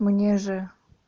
мне же